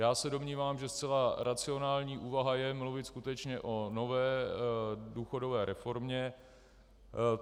Já se domnívám, že zcela racionální úvaha je mluvit skutečně o nové důchodové reformě.